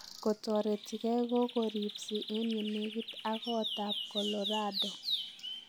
Kotoretigei kogoripsii en yenegiit ak koot ab Colorado.